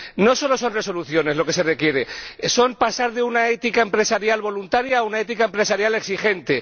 No solo son resoluciones lo que se requiere es pasar de una ética empresarial voluntaria a una ética empresarial exigente.